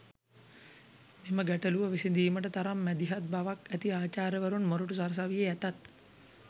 මෙම ගැටළුව විසඳීමට තරම් මැදහත් බවක් ඇති අචාර්යවරුන් මොර‍ටු සරසවියේ ඇතත්